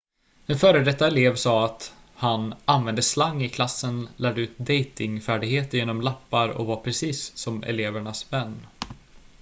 "en före detta elev sa att han "använde slang i klassen lärde ut dejtingfärdigheter genom lappar och var precis som elevernas vän.""